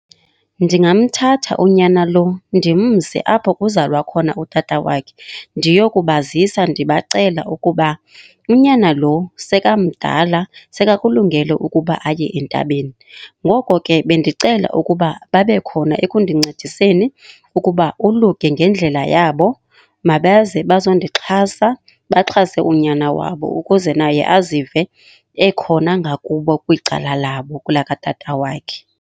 Ndingamthatha unyana lo ndimse apho kuzalwa khona utata wakhe. Ndiyokubazisa ndibacela ukuba unyana lo sekamdala, sekakulungele ukuba aye entabeni. Ngoko ke bendicela ukuba babe khona ekundincediseni ukuba oluke ngendlela yabo. Mabaze bazondixhasa, baxhase unyana wabo ukuze naye azive ekhona ngakubo kwicala labo kulaa katata wakhe.